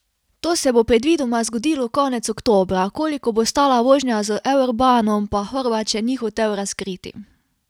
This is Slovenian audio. To se bo predvidoma zgodilo konec oktobra, koliko bo stala vožnja z eurbanom, pa Horvat še ni hotel razkriti.